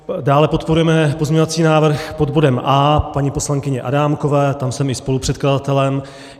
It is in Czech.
Dále podporujeme pozměňovací návrh pod bodem A paní poslankyně Adámkové, tam jsem i spolupředkladatelem.